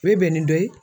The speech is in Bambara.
U ye bɛn ni dɔ ye